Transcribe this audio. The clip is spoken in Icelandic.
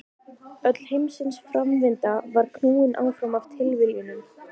Öll heimsins framvinda var knúin áfram af tilviljunum.